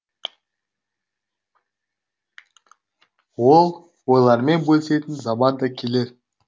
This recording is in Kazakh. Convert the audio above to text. ол ойлармен бөлісетін заман да келер